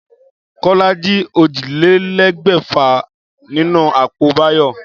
Kólá jí ójìlélégbèfà nínú àpò Báyò